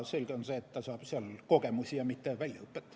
Selge on see, et ta saab seal kogemusi, mitte väljaõpet.